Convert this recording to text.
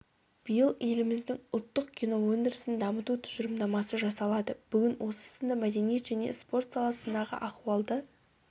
биыл еліміздің ұлттық кино өндірісін дамыту тұжырымдамасы жасалады бүгін осы сынды мәдениет және спорт саласындағы ахуалды